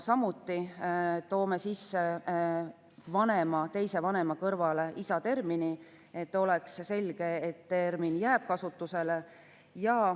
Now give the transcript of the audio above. Seal toome samuti sisse "teise vanema" kõrvale termini "isa", et oleks selge, et see termin jääb kasutusele.